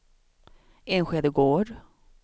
Enskede Gård